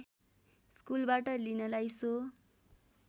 स्कुलबाट लिनलाई सो